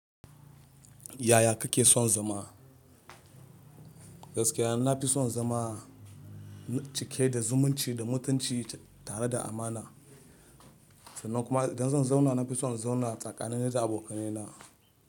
Yaya kake son zama? Gaskiya na fi son zama cike da zumunci da mutunci tare da amana. Sannan kuma idan zan zauna na fi son in zauna tsakanina da abokanai na.